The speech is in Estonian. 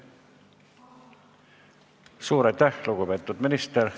Suur aitäh, lugupeetud minister!